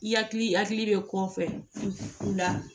I hakili bɛ kɔfɛ u la